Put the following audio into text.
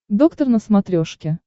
доктор на смотрешке